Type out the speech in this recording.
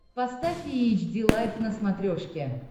поставь эйч ди лайф на смотрешке